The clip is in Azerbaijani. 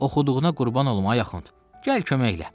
Oxuduğuna qurban olum ay axund, gəl kömək elə.